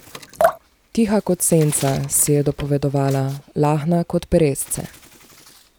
Tiha kot senca, si je dopovedovala, lahna kot peresce.